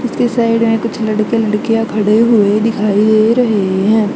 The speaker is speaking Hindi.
उसके साइड में कुछ लड़के लड़कियां खड़े हुए दिखाई रहे हैं।